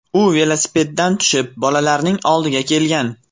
U velosipedidan tushib, bolalarning oldiga kelgan.